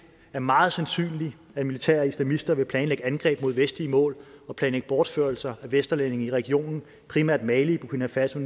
er meget sandsynligt at militære ekstremister vil planlægge angreb mod vestlige mål og planlægge bortførelser af vesterlændinge i regionen primært mali burkina faso